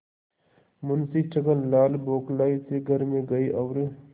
मुंशी छक्कनलाल बौखलाये से घर में गये और